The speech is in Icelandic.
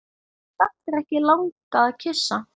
Samt ekki langað að kyssa.